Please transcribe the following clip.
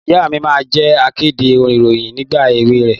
Ìyá mi máa ń jẹ́ akéde ìròyìn nígbà èwe rẹ̀.